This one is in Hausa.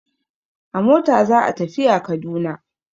A mota za a tafiya Kaduna.